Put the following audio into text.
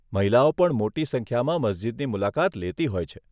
મહિલાઓ પણ મોટી સંખ્યામાં મસ્જીદની મુલાકાત લેતી હોય છે.